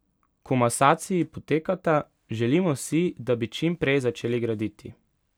Komasaciji potekata, želimo si, da bi čim prej začeli graditi.